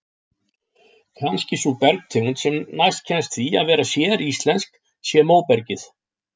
Kannski sú bergtegund sem næst kemst því að vera séríslensk sé móbergið.